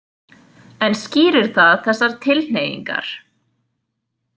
En skýrir það þessar tilhneigingar?